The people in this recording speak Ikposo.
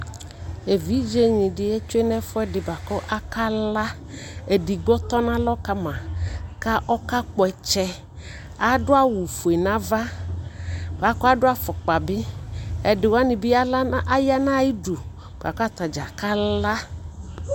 Evidze ne de etsue no ɛfoede ko akala edigbo tɔno alɔ kama kɔka kpɔ ɔkyɛ ado awu fue no ava kado afokpa bi edi wane ya no ayidu boako atadza kala